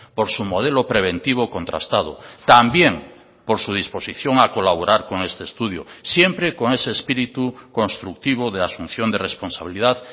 por su modelo preventivo contrastado también por su disposición a colaborar con este estudio siempre con ese espíritu constructivo de asunción de responsabilidad